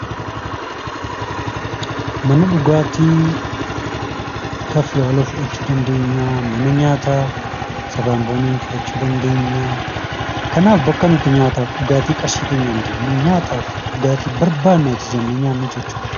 Mana dhugaatii kafiyaalewu fudhachuu dandeenyaa, mana nyaataa sabaan boonii fudhachuu dandeenya. Kanaaf bakka nuti nyaataaf dhugaatii qarshii keenyaan deemnee, nyaataaf dhugaatii barbaanne ajajannee nyaannu jechuudha.